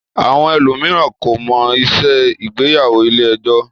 Àwọn ẹlòmíràn kọ̀ máa ń ṣe ìgbéyàwó ilé-ẹjọ́.